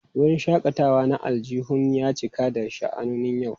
Wurin shakatawa na aljihun ya cika da sha'anoni yau.